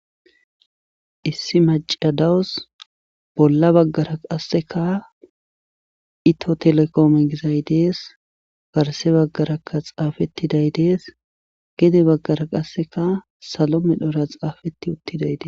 Issi macciay dawus bolla baggara qasseka itiyo gizay dees garsse bggara xaafettiday dees gede baggara qasseka salo medhora xeefetti uttiday de.